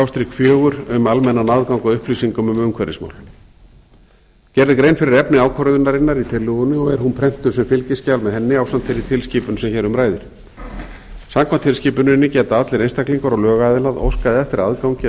fjögur um almennan aðgang að upplýsingum um umhverfismál gerð er grein fyrir efni ákvörðunarinnar í tillögunni og er hún prentuð sem fylgiskjal með henni ásamt þeirri tilskipun sem hér um ræðir samkvæmt tilskipuninni geta allir einstaklingar og lögaðilar óskað eftir aðgangi að